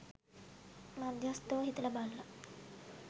මධ්‍යස්ථව හිතල බලල